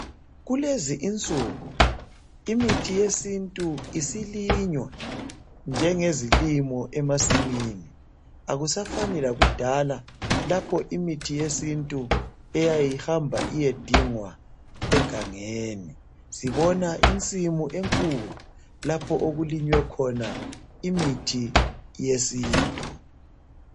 Kulezi insuku imithi yesintu isilinywa njenge zilimo emasimini. Akusafani lakudala lapho imithi yesintu eyayihamba iyedingwa egangeni. Sibona insimu enkulu lapho okulinywe khona imithi yesintu.